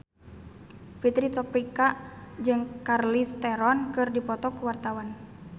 Fitri Tropika jeung Charlize Theron keur dipoto ku wartawan